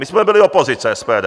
My jsme byli opozice - SPD.